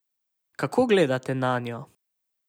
Kako gledate nanjo?